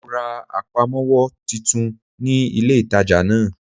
Mo ra àpamówó titun ní ilé ìtajà náà